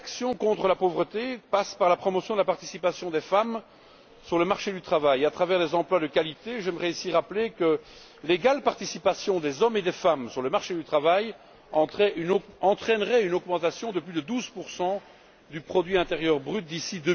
Une réelle action contre la pauvreté passe par la promotion de la participation des femmes sur le marché du travail à travers des emplois de qualité. J'aimerais ici rappeler que l'égale participation des hommes et des femmes sur le marché du travail entraînerait une augmentation de plus de 12 du produit intérieur brut d'ici